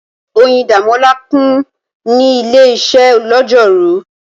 Oyindamola kùn ní ilé-iṣẹ́ lọ́jọ́rú.